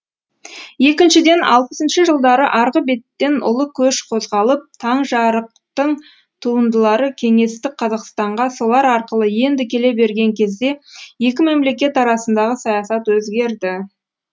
екіншіден алпысыншы жылдары арғы беттен ұлы көш қозғалып таңжарықтың туындылары кеңестік қазақстанға солар арқылы енді келе берген кезде екі мемлекет арасындағы саясат өзгерді